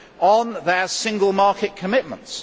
on their single market commitments.